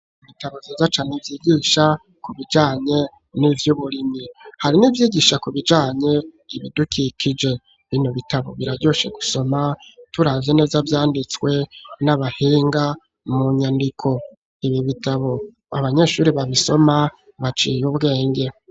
Ibitabo vyiza cane vyigisha ku bijanye n'ivy'uburimyi ,hari n'ivyigisha kubijanye ibidukikije ,bino bitabo biraryoshe gusoma, turavye neza vyanditswe n'abahinga mu nyandiko, ibi bitabo abanyeshuri babisoma baciye ubwenge.